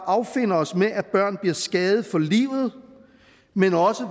affinder os med at børn bliver skadet for livet men